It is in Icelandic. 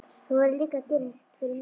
Þú verður líka að gera eitt fyrir mig.